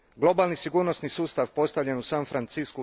Globalni sigurnosni sustav postavljen u San Franciscu